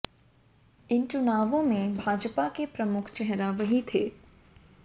इन चुनावों में भाजपा के प्रमुख चेहरा वही थे